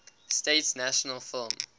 states national film